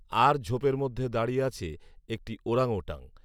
আর ঝোপের মধ্যে দাঁড়িয়ে আছে একটি ওরাংওটাং